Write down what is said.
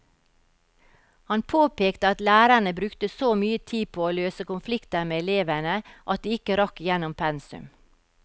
Han påpekte at lærerne brukte så mye tid på å løse konflikter med elevene at de ikke rakk igjennom pensum.